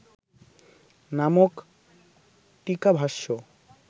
নামক টীকাভাষ্য